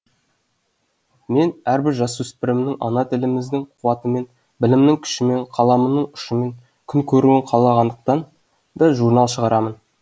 мен әрбір жасөспірімнің ана тіліміздің қуатымен білімінің күшімен қаламының ұшымен күн көруін қалағандықтан да журнал шығарамын